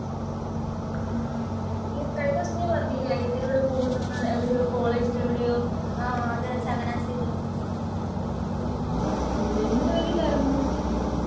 ഉം ഈ കഴിഞ്ഞ ദിവസം നീ പറഞ്ഞില്ലേ അനിയത്തിയുടെ കൂടെ പോകുന്നുന്ന്. എവിടയോ കോളേജിൽ എവിടയോ ഉം എന്തിനുവേണ്ടിട്ടായിരുന്നു?